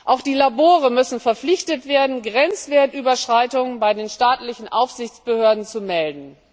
Auch die Labore müssen verpflichtet werden, Grenzwertüberschreitungen bei den staatlichen Aufsichtsbehörden zu melden.